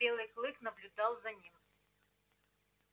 белый клык наблюдал за ним